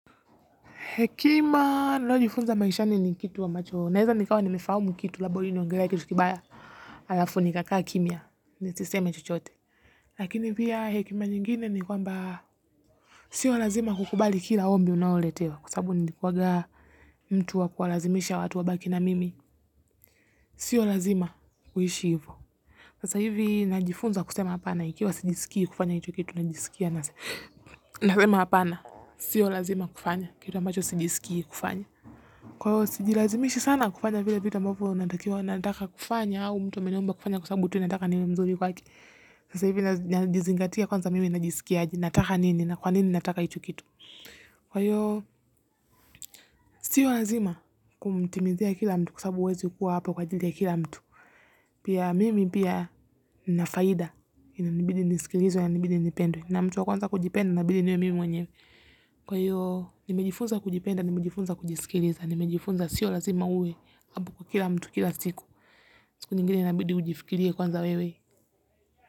Hekima nayojifunza maishani ni kitu ambacho. Naeza nikawa nimefahamu kitu labda inaongelea kitu kibaya halafu nikakaa kimya nisiseme chochote. Lakini pia hekima nyingine ni kwamba sio lazima kukubali kila ombi unaoletewa. Kwa sababu nilikuwanga mtu wa kuwalazimisha watu wabaki na mimi. Sio lazima kuishi hivo. Sasa hivi najifunza kusema hapana. Ikiwa sijisikii kufanya hicho kitu najisikia nasema hapana. Sio lazima kufanya kitu ambacho sijisikii kufanya. Kwa hiyo sijilazimishi sana kufanya vile vitu ambavyo nataka kufanya au mtu ameniomba kufanya kwa sababu tu anataka niwe mzuri kwake. Sasa hivi najizingatia kwanza mimi najisikia aje. Nataka nini na kwa nini nataka hicho kitu. Kwa hiyo, sio lazima. Kumtimizia kila mtu kwa sababu huwezi kuwa hapo kwa ajili ya kila mtu. Pia, mimi pia nina faida. Inabidi nisikilizwe na inabidi nipendwe. Na mtu wa kwanza kujipenda inabidi iwe mimi mwenyewe. Kwa hiyo nimejifunza kujipenda, nimejifunza kujisikiliza. Nimejifunza sio lazima uwe kila mtu, kila siku. Siku nyingine inabidi ujifikirie kwanza wewe.